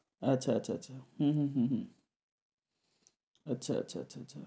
আচ্ছা আচ্ছা আচ্ছা হুম হুম হুম হুম আচ্ছা আচ্ছা আচ্ছা আচ্ছা